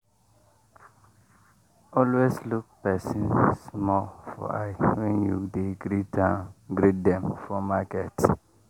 always look persin small for eye when you dey greet dem for market.